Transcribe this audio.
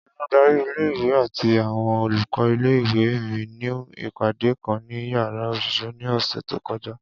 Oludari ìle- ìwe ati awọn olùkọ́ ìle-ìwe mi ni ipade kan ni yàrá oṣiṣẹ ni ọsẹ to kọja.